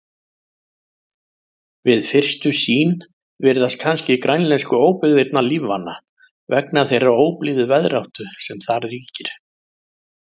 Við fyrstu sýn virðast kannski grænlensku óbyggðirnar lífvana vegna þeirrar óblíðu veðráttu sem þar ríkir.